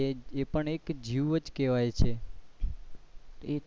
એ પણ એક જીવ જ કેવાય છે.